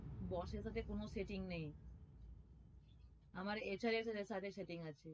boss এর সাথে কোনো setting নেই, আমার সাথে setting আছে।